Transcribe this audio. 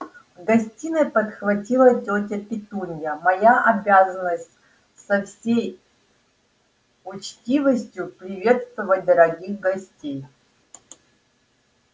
в гостиной подхватила тётя петунья моя обязанность со всей учтивостью приветствовать дорогих гостей